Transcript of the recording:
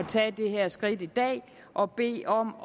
tage det her skridt i dag og bede om